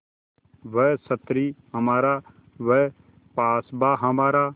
वह संतरी हमारा वह पासबाँ हमारा